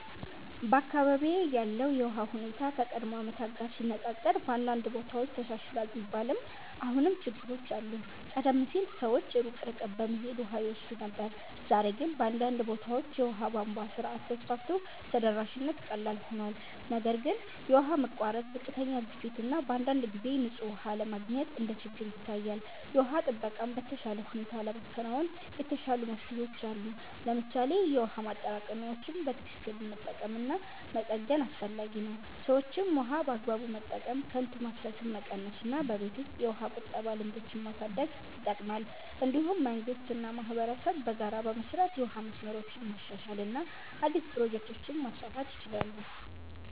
በአካባቢዬ ያለው የውሃ ሁኔታ ከቀድሞ ዓመታት ጋር ሲነፃፀር በአንዳንድ ቦታዎች ተሻሽሏል ቢባልም አሁንም ችግሮች አሉ። ቀደም ሲል ሰዎች ሩቅ ርቀት በመሄድ ውሃ ይወስዱ ነበር፣ ዛሬ ግን በአንዳንድ ቦታዎች የውሃ ቧንቧ ስርዓት ተስፋፍቶ ተደራሽነት ቀላል ሆኗል። ነገር ግን የውሃ መቋረጥ፣ ዝቅተኛ ግፊት እና በአንዳንድ ጊዜ ንጹህ ውሃ አለመገኘት እንደ ችግር ይታያል። የውሃ ጥበቃን በተሻለ ሁኔታ ለማከናወን የተሻሉ መፍትሄዎች አሉ። ለምሳሌ የውሃ ማጠራቀሚያዎችን በትክክል መጠቀም እና መጠገን አስፈላጊ ነው። ሰዎችም ውሃን በአግባቡ መጠቀም፣ ከንቱ ማፍሰስን መቀነስ እና በቤት ውስጥ የውሃ ቁጠባ ልምዶችን ማሳደግ ይጠቅማል። እንዲሁም መንግስት እና ማህበረሰብ በጋራ በመስራት የውሃ መስመሮችን ማሻሻል እና አዲስ ፕሮጀክቶችን ማስፋፋት ይችላሉ።